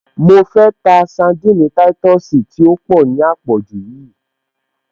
Mo fẹ́ ta sandini táìtọ̀sì tí ó pọ̀ ní à pọ̀jù yíì